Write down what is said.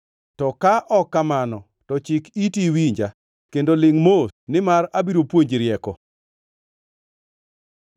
to ka ok kamano, to chik iti iwinja; kendo lingʼ mos nimar abiro puonji rieko.”